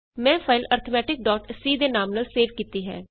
ਮੈਂ ਫਾਈਲ ਅਰਥਮੈਟਿਕਸੀ arithmeticਸੀ ਦੇ ਨਾਮ ਨਾਲ ਸੇਵ ਕੀਤੀ ਹੈ